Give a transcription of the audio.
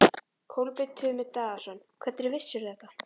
Kolbeinn Tumi Daðason: Hvernig vissirðu þetta?